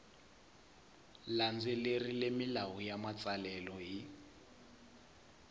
landzelerile milawu ya matsalelo hi